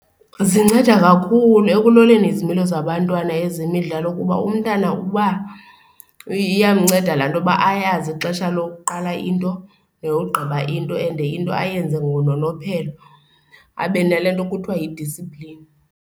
Zinceda kakhulu ekuloleni izimilo zabantwana ezemidlalo kuba umntana uba iyamnceda laa nto yoba ayazi ixesha lokuqala into neyogqiba into and into ayenze ngononophelo, abe nalaa nto kuthiwa yi-discipline.